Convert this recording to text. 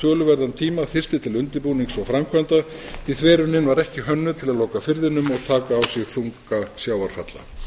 töluverðan tíma þyrfti ætla undirbúnings og framkvæmda því þverunin var ekki var ekki hönnuð til að loka firðinum og taka á sig þunga sjávarfalla